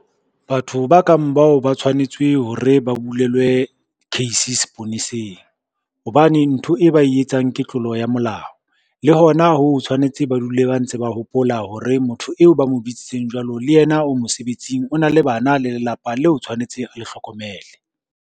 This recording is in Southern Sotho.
Batho ba kang bao ba tshwanetswe hore ba bulelwe case seponeseng, hobane ntho e ba e etsang ke tlolo ya molao. Le hona ho tshwanetse ba dule ba ntse ba hopola hore motho eo ba mo bitsitseng jwalo le yena o mosebetsing o na le bana le lelapa leo tshwanetse a le hlokomele.